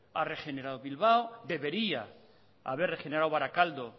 ha regenerado bilbao debería haber regenerado barakaldo